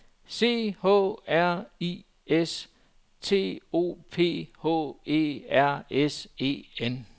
C H R I S T O P H E R S E N